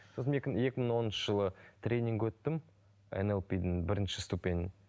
сосын екі мың екі мың оныншы жылы тренинг өттім эн эл пи дің бірінші ступеньін